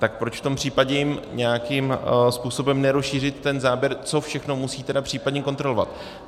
Tak proč v tom případě jim nějakým způsobem nerozšířit ten záběr, co všechno musí tedy případně kontrolovat?